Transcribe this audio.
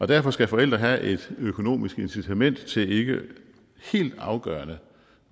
derfor skal forældre have et økonomisk incitament til ikke helt afgørende